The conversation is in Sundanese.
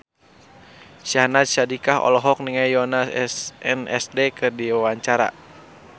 Syahnaz Sadiqah olohok ningali Yoona SNSD keur diwawancara